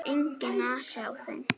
Enginn asi á þeim.